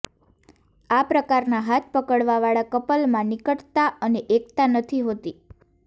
આ પ્રકારનાં હાથ પકડવા વાળા કપલમાં નિકટતા અને એકતા નથી હોતી